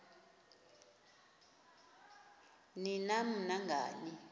ni nam nangani